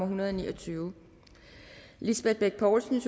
hundrede og ni og tyve lisbeth bech poulsen